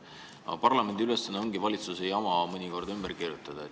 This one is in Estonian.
Aga parlamendi ülesanne ongi mõnikord valitsuse jama ümber kirjutada.